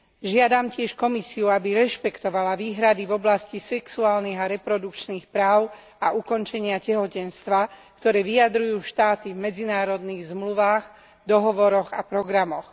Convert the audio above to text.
Žiadam tiež Komisiu, aby rešpektovala výhrady v oblasti sexuálnych a reprodukčných práv a ukončenia tehotenstva, ktoré vyjadrujú štáty v medzinárodných zmluvách, dohovoroch a programoch.